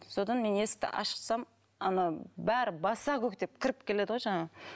содан мен есікті ашсам ана бәрі баса көктеп кіріп келеді ғой жаңағы